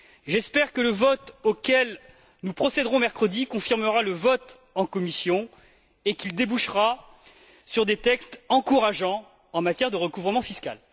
J'espère que le vote auquel nous procéderons mercredi confirmera le vote en commission et qu'il débouchera sur des textes encourageants en matière de recouvrement fiscal.